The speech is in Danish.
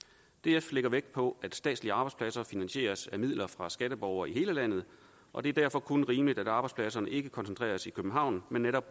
df lægger vægt på at statslige arbejdspladser finansieres af midler fra skatteborgere i hele landet og det er derfor kun rimeligt at arbejdspladserne ikke koncentreres i københavn men netop